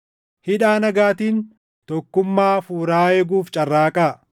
Hidhaa nagaatiin tokkummaa Hafuuraa eeguuf carraaqaa.